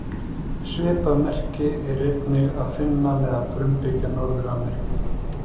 Svipað merki er einnig að finna meðal frumbyggja Norður-Ameríku.